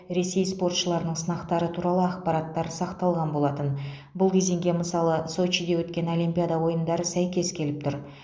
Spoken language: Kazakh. ресей спортшыларының сынақтары туралы ақпараттар сақталған болатын бұл кезеңге мысалы сочиде өткен олимпиада ойындары сәйкес келіп тұр